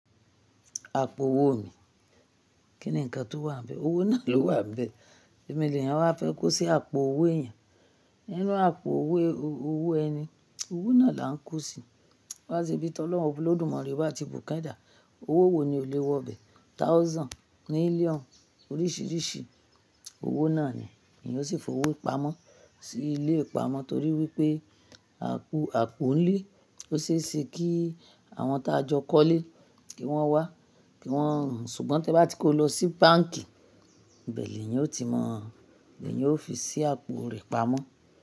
Àpò owó mi, kí ni ǹkan tó wà níbẹ̀? Owó náà ló wà nbe. Ẹ̀mi ènìyàn wá fẹ́ kó sí àpò owó ẹ̀yẹn. Inú àpò owó ẹni, owó náà là ń kó sí. Wá ṣe bí Tọlọ́un Olódùmarè bá ti bùkẹ́ dà, owó wo ni o lè wọ bẹ̀? Thousand, million oríṣìíríṣìí owó náà ni ènìyàn ó sì fowó pamọ́ sí ilé ìpamọ́ torí wípé àpò ń lé. Ó ṣe é ṣe kí àwọn ta jọ kọ́ lé kí wọ́n wá, kí wọ́n, ṣùgbọ́n tí ẹ bá ti kó lọ sí báǹkì, bẹ̀ẹ́lẹ̀ ènìyàn ó ti mọ̀, ènìyàn ó fi sí àpò rẹ̀ pamọ́.